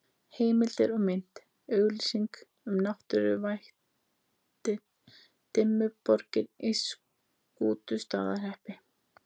Heimildir og mynd: Auglýsing um náttúruvættið Dimmuborgir í Skútustaðahreppi.